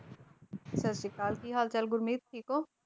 ਸਤਿ ਸ਼੍ਰੀ ਅਕਾਲ ਕੀ ਹਾਲ ਚਾਲ ਗੁਰਮੀਤ ਠੀਕ ਹੋ?